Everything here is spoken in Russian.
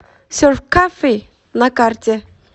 серф кофи на карте